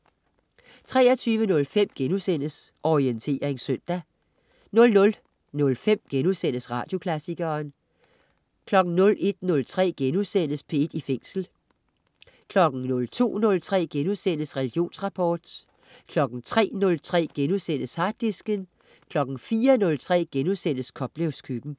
23.05 Orientering søndag* 00.05 Radioklassikeren* 01.03 P1 i Fængsel* 02.03 Religionsrapport* 03.03 Harddisken* 04.03 Koplevs Køkken*